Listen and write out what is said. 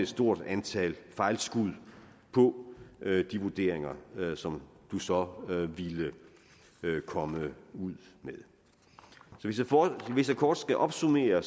stort antal fejlskud på de vurderinger som du så ville komme ud med så hvis jeg kort skal opsummere